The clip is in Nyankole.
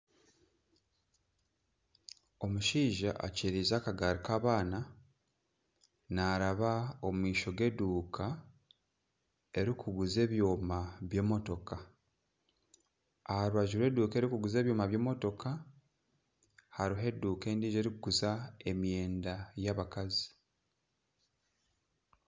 Omushaija akiriize akagaari k'abaana naaraba omu maisho g'eduuka erikuguza ebyoma by'emotoka. Aha rubaju rw'eduuka erikuguza ebyoma by'emotoka hariho eduuka endijo erikuguza emyenda y'abakazi.